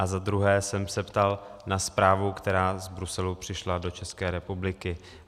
A za druhé jsem se ptal na zprávu, která z Bruselu přišla do České republiky.